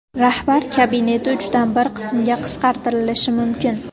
Rahbar kabineti uchdan bir qismga qisqartirilishi mumkin.